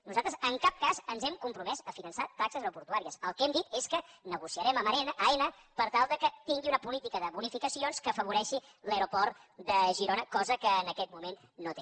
nosaltres en cap cas ens hem compromès a finançar taxes aeroportuàries el que hem dit és que negociarem amb aena per tal que tingui una política de bonificacions que afavoreixi l’aeroport de girona cosa que en aquest moment no té